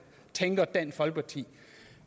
tænker dansk folkeparti